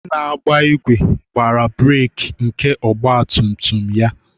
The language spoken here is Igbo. Onye na-agba igwe gbara brek nke ọgba tum tum ya